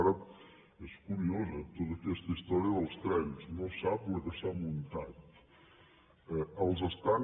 ara és curiós eh amb to ta aquesta història dels trens no sap la que s’ha muntat els estan